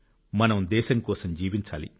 మనం దేశం కోసం జీవించాలి